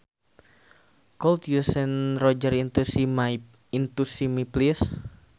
Could you send Roger into see me please